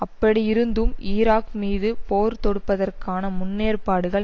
அப்படியிருந்தும் ஈராக் மீது போர் தொடுப்பதற்கான முன்னேற்பாடுகள்